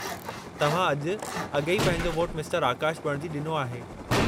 तव्हां अॼु अॻेई पंहिंजो वोटु मिस्टरु आकाशु बणिजी डि॒नो आहे।